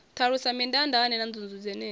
ṱalusa mindaandaane na nzunzu dzenedzi